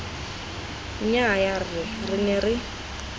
nnyaya rra re ne re